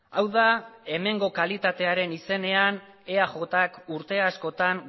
hau da hemengo kalitatearen izenean eajk urte askotan